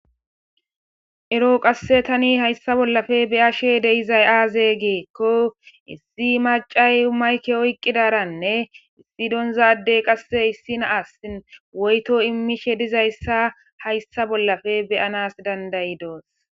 ero qasse tani hayssa bollafe beyashe de'izay aaze giikko issi macay mayke oyqqidaranne issi doonzaaddey qasse issi naasin woyto immishe dizayssa hayssa bollafe beyanas dandayi doos